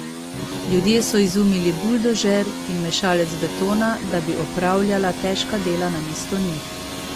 Ljudje so izumili buldožer in mešalec betona, da bi opravljala težka dela namesto njih.